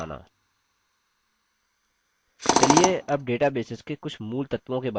चलिए अब डेटाबेसेस के कुछ मूलतत्वों के बारे में सीखते हैं